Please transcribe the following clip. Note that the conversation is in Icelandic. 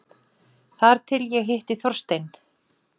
Þar til ég hitti Þorstein.